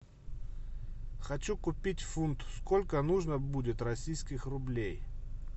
хочу купить фунт сколько нужно будет российских рублей